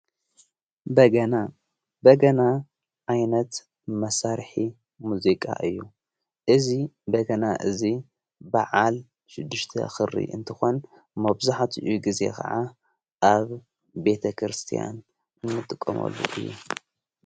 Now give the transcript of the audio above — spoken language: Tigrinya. በገና በገና ዓይነት መሳርኂ ሙዚቃ እዩ እዝ በገና እዙይ ብዓል ሽዱሽቲ ኽሪ እንተኾን ማብዙኃትእዩ ጊዜ ኸዓ ኣብ ቤተ ክርስቲያን ምጥቆመሉ እዩ።